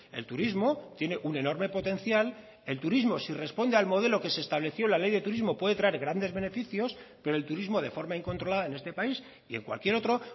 el turismo tiene un enorme potencial el turismo si responde al modelo que se estableció en la ley de turismo puede traer grandes beneficios pero el turismo de forma incontrolada en este país y en cualquier otro